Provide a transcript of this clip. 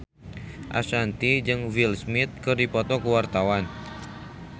Ashanti jeung Will Smith keur dipoto ku wartawan